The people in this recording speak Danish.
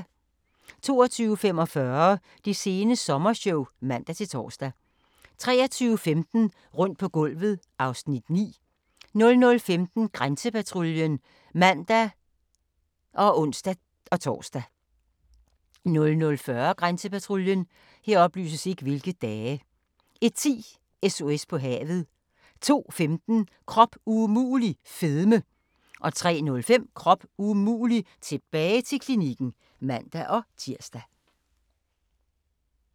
22:45: Det sene sommershow (man-tor) 23:15: Rundt på gulvet (Afs. 9) 00:15: Grænsepatruljen (man og ons-tor) 00:40: Grænsepatruljen 01:10: SOS på havet 02:15: Krop umulig - fedme 03:05: Krop umulig - tilbage til klinikken (man-tir)